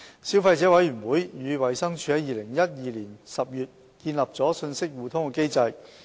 消費者委員會與衞生署在2012年10月建立了信息互通機制。